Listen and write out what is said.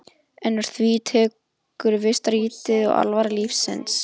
En úr því tekur við stritið og alvara lífsins.